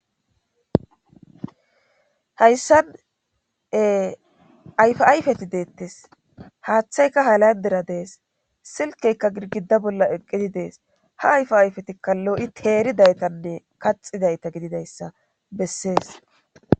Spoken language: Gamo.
hayssane ayfa ayfeti deettes haaththayka halayndera dees silkeykka girgida bolla eqqidi dees ha ayf ayfetikka loo7i teeridaytanne kaxidayta gididayssa bessees